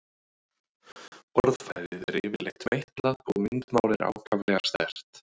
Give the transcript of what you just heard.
Orðfærið er yfirleitt meitlað og myndmál er ákaflega sterkt.